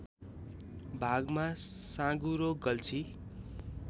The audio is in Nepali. भागमा साँगुरो गल्छी